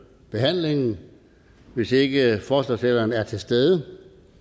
behandlingen hvis ikke forslagsstilleren er til stede